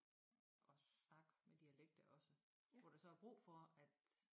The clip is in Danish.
Og snakke med dialekter og sådan hvor er så er brug for at